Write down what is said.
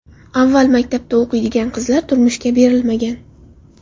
Avval maktabda o‘qiydigan qizlar turmushga berilmagan.